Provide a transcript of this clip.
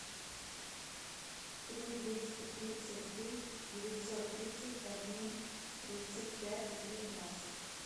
три двести тридцать три девятьсот тридцать один тридцать пять девятнадцать